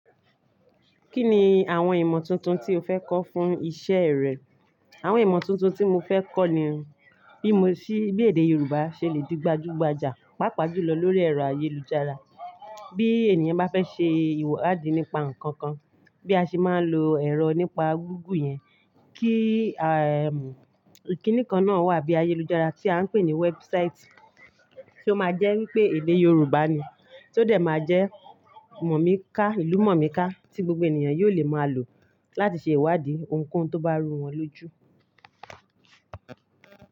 Kí ni àwọn ìmọ̀ tuntun tí o fẹ́ kọ́ fún iṣẹ́ rẹ? Àwọn ìmọ̀ tuntun tí mo fẹ́ kọ́ ni bí mo ṣe bí èdè Yorùbá ṣe le di gbajúgbajà, pàápàá jùlọ lórí ẹ̀rọ ayélujára. Bí ènìyàn bá fẹ́ ṣe ìwádìí nípa nǹkan kan, bí a ṣe máa ń lo ẹ̀rọ nípa gúgù yẹn kí, ehm, ìkínní kan náà wà bí ayélujára tí a ń pè ní website, tí ó máa jẹ́ wípé èdè Yorùbá ni, tí ó dẹ̀ máa jẹ́, ìlú mọ̀míká tí gbogbo ènìyàn yóò lè máa lò láti ṣe ìwádìí ohunkóhun tó bá rú wọn lójú.